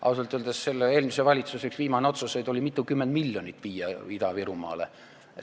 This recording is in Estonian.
Ausalt öeldes eelmise valitsuse viimaseid otsuseid oli eraldada mitukümmend miljonit Ida-Virumaale.